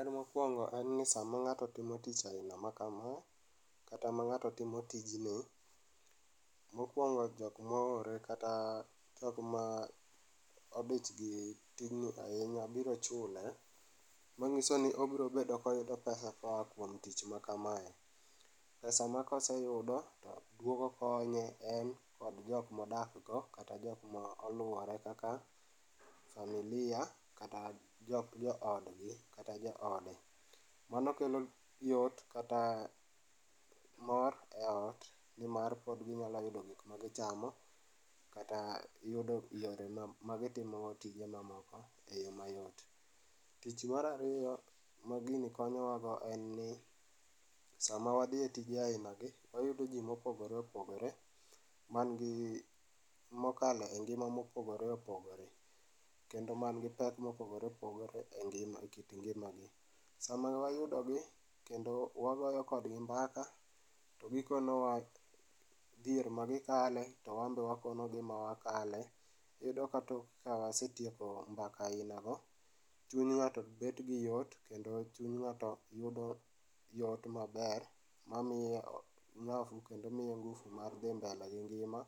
En mokuongo en ni sama ng'ato timo tich aina ma kama kata ma ng'ato timo tijni ,mokuongo jok moore kata jokma odich gi tijni ahinya biro chule mangisoni obiro bedo ka oyudo pesa koa kuom tich makamae, pesa ma koseyudo to duogo konye en kod jokma odak go kata jokma oluore kaka familia kata jok, jo odgi kata jo ode. Mano kelo yot kata mor e ot nimar pod ginyalo yudo gik magichamo kata yudo yore ma magitimo go tije mamoko e yoo mayot. Tich mar ariyo ma gini konyowa go en ni sama wadhi e tije aina gi, wayudo jii mopogore opogore man gi, mokale ngima ma opogore opogore kendo man gi pek ma opogore opogore e ngima gi, e kit ngimagi. Sama wayudo gi kendo wagoyo kodgi mbaka to gikonowa dhier magikale to wan be wakonogi ma wakele. Iyudo ka wasetieko mbaka aina go chuny ng'ato bet gi yot kendo chuny ng'ato yudo yot maber mamiye kendo miye ngufu mar dhi mbele gi ngima